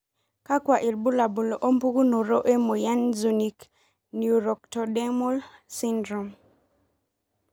kakwa ilbulabul opukunoto emoyian Zunich neuroectodermal syndrome?